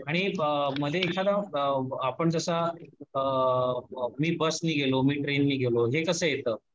आणि मध्ये एखादा आपण कसा, मी बस ने गेलो मी ट्रेन ने गेलो, हे कसं येतं